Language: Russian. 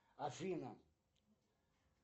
афина